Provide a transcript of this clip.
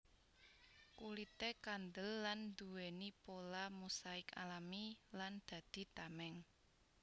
Kulité kandel lan nduwèni pola mosaik alami lan dadi tameng